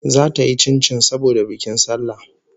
Zata yi chinchin saboda bikin sallah